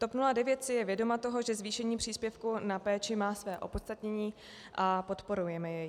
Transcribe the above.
TOP 09 si je vědoma toho, že zvýšení příspěvku na péči má své opodstatnění, a podporujeme je.